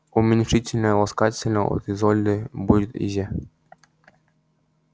уменьшительно-ласкательно от изольды будет изя